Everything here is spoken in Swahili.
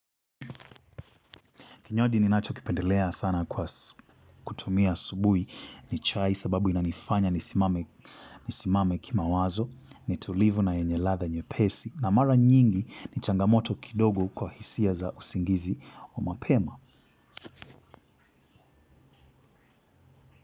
Kinywaji ni nacho kipendelea sana kwa kutumia asubuhi ni chai sababu inanifanya nisimame kimawazo nitulivu na yenye ladha nyepesi na mara nyingi ni changamoto kidogo kwa hisia za usingizi wa mapema.